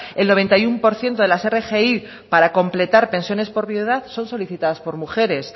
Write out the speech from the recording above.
el noventa y uno por ciento de las rgi para completar pensiones por viudedad son solicitadas por mujeres